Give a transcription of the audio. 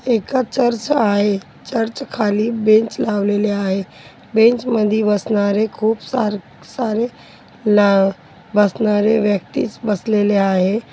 एक चर्च आहे चर्च खाली बेंच लावलेले आहे बेंच मध्ये बसणारे खूप सारे सारे ला बसणारे व्यक्तीच बसलेले आहेत.